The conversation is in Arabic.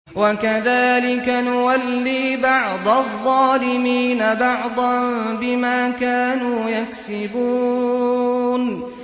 وَكَذَٰلِكَ نُوَلِّي بَعْضَ الظَّالِمِينَ بَعْضًا بِمَا كَانُوا يَكْسِبُونَ